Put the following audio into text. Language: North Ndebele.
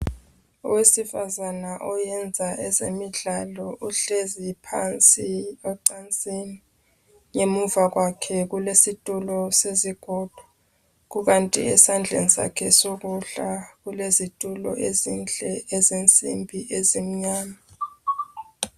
Owesifazana oyenza ezemidlalo uhlezi phansi ecansini ngemuva kwakhe kulesitulo sezigodo kukanti esandleni sakhe sokudla kulezitulo ezinhle ezensimbi ezimnyama.